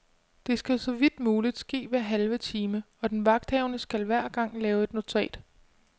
Det skal så vidt muligt ske hver halve time, og den vagthavende skal hver gang lave et notat.